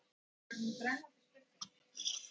Það var hin brennandi spurning.